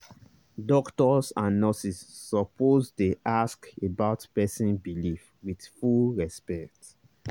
doctors and nurses suppose dey ask about person belief with full respect.